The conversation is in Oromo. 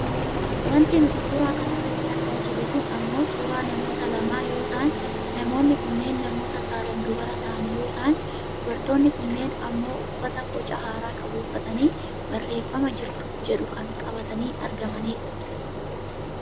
Wanti nuti suuraa kanarratti argaa jirru kun ammoo suuraa namoota lamaa yoo ta'an namoonni kunneen namoota saalaan dubara ta'an yoo ta'an dubartoonni kunneen ammoo uffata boca haaraa qabu uffatanii barreefama jirtuu jedhu kan qabatanii argamanidha.